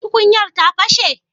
tukuyar ta pashe?